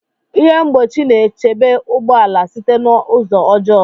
Ihe mgbochi na-echebe ụgbọ ala site na ụzọ ọjọọ